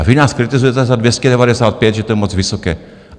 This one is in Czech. A vy nás kritizujete za 295, že to je moc vysoké.